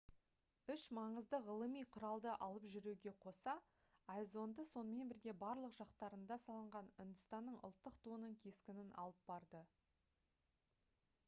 үш маңызды ғылыми құралды алып жүруге қоса ай зонды сонымен бірге барлық жақтарында салынған үндістанның ұлттық туының кескінін алып барды